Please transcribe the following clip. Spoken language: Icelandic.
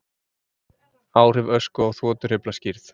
Áhrif ösku á þotuhreyfla skýrð